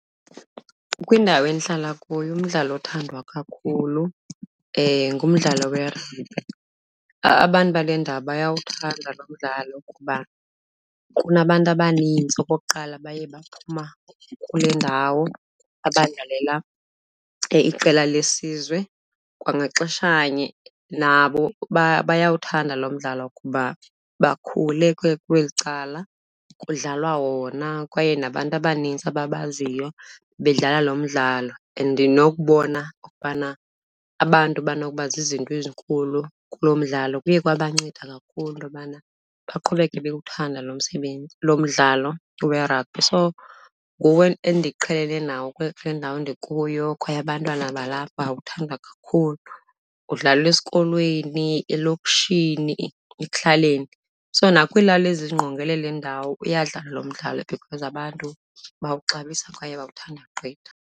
Kwindawo endihlala kuyo, umdlalo othandwa kakhulu ngumdlalo werabhi. Abantu bale ndawo bayawuthanda lo mdlalo ngoba kunabantu abanintsi okokuqala abaye baphuma kule ndawo abadlalela iqela lesizwe. Kwangaxeshanye, nabo bayawuthanda lo mdlalo kuba bakhule kweli cala kudlalwa wona kwaye nabantu abanintsi ababaziyo bedlala lo mdlalo. And nokubona okokubana abantu banokuba zizinto ezinkulu kulo mdlalo kuye kwabanceda kakhulu into yobana baqhubeke bewuthanda lo msebenzi, lo mdlalo werabhi. So nguwo endiqhele nawo kule ndawo ndikuyo kwaye abantwana balapha bawuthanda kakhulu. Udlalwa esikolweni, elokishini, ekuhlaleni. So nakwiilali ezingqongele le ndawo uyadlalwa lo mdlalo because abantu bawuxabisa kwaye bawuthanda gqitha.